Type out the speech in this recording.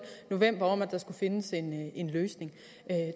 november om at der skulle findes en løsning